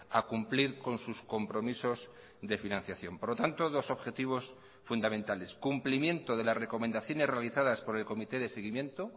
a cumplir con sus compromisos de financiación por lo tanto dos objetivos fundamentales cumplimiento de las recomendaciones realizadas por el comité de seguimiento